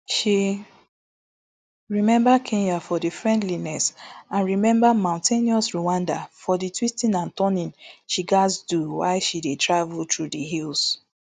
she remember kenya for di friendliness and remember mountainous rwanda for di twisting and turning she gatz do while she dey travel through di hills